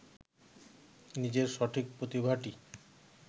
নিজের সঠিক প্রতিভাটি